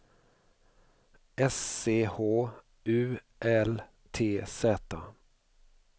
S C H U L T Z